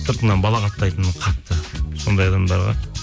сыртыңнан балағаттайтын қатты сондай адамдар бар